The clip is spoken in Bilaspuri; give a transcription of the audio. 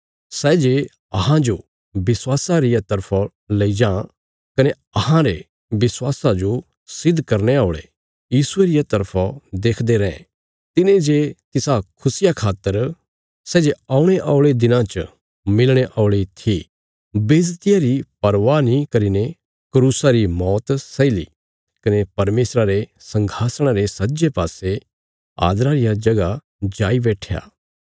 सै जे अहांजो विश्वासा रिया तरफा लेई जां कने अहांरे विश्वासा जो सिद्ध करने औल़े यीशुये रिया तरफा देखदे रैं तिने जे तिसा खुशिया खातर सै जे औणे औल़े दिनां च मिलणे औल़ी थी बेज्जतिया री परवाह नीं करीने क्रूसा री मौत सही ली कने परमेशरा रे संघासणा रे सज्जे पासे आदरा रिया जगह जाई बैट्ठया